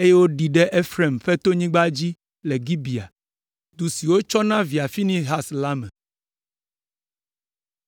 eye woɖii ɖe Efraim ƒe tonyigba dzi le Gibea, du si wotsɔ na via Finehas la me.